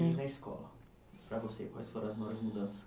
E na escola, para você, quais foram as maiores mudanças